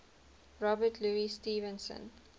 robert louis stevenson